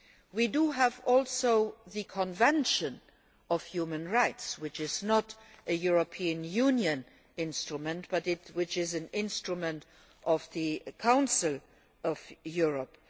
We also have the Convention on Human Rights, which is not a European Union instrument but an instrument of the Council of Europe.